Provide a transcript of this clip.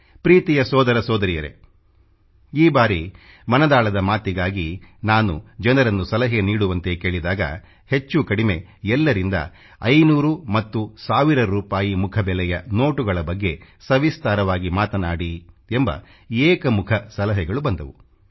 ಪ್ರೀತಿಯ ಸೋದರ ಸೋದರಿಯರೇ ಈ ಬಾರಿ ಮನದಾಳದ ಮಾತಿಗಾಗಿ ನಾನು ಜನರನ್ನು ಸಲಹೆ ನೀಡುವಂತೆ ಕೇಳಿದಾಗ ಹೆಚ್ಚು ಕಡಿಮೆ ಎಲ್ಲರಿಂದ 500 ಮತ್ತು 1 ಸಾವಿರ ರೂಪಾಯಿ ಮುಖಬೆಲೆಯ ನೋಟುಗಳ ಬಗ್ಗೆ ಸವಿಸ್ತಾರವಾಗಿ ಮಾತನಾಡಿ ಎಂಬ ಏಕಮುಖ ಸಲಹೆಗಳು ಬಂದವು